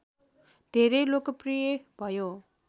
धेरै लोकप्रिय भयो